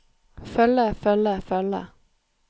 følge følge følge